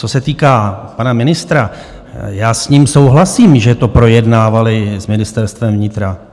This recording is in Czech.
Co se týká pana ministra, já s ním souhlasím, že to projednávali s Ministerstvem vnitra.